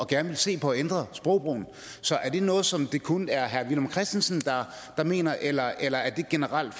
gerne vil se på at ændre sprogbrugen så er det noget som det kun er herre villum christensen der mener eller er det generelt